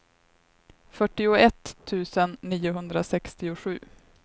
fyrtioett tusen niohundrasextiosju